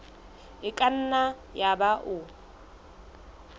e ka nna yaba o